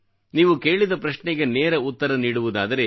ನೀವು ಕೇಳಿದ ಪ್ರಶ್ನೆಗೆ ನೇರ ಉತ್ತರ ನೀಡುವುದಾದರೆ